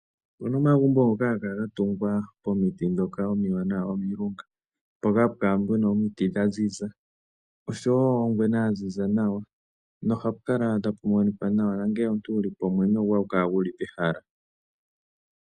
Opu na omagumbo ngoka haga kala ga tungwa pomiti ndhoka omiwanawa omilunga. Mpoka hapu kala pu na omiti dha ziza osho wo ongwena ya ziza nawa nohapu kala tapu monika nawa nongele omuntu wu li po omwenyo goye ohagu kala gu li pehala.